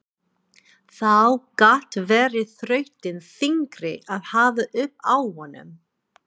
Þá gat verið þrautin þyngri að hafa upp á honum.